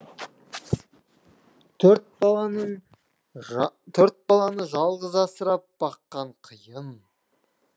төрт баланың төрт баланы жалғыз асырап баққан қиын